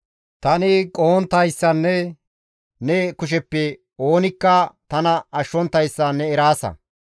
Tani qohonttayssanne ne kusheppe oonikka tana ashshonttayssa ne eraasa.